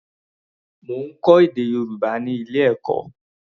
Mo ń kọ́ èdè Yorùbá ní ilé-ẹ̀kọ́.